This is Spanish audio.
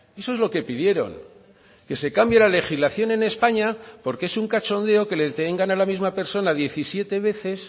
eso es lo que pidieron que se cambie la legislación en españa porque es un cachondeo que le detengan a la misma persona diecisiete veces